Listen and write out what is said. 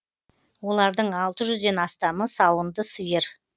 олардың алты жүзден астамы сауынды сиыр